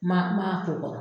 Ma ma a ko kɔrɔ